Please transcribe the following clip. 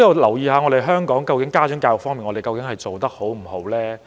究竟香港在家長教育方面做得好不好？